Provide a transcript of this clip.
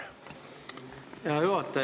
Hea juhataja!